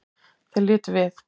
Þeir litu við.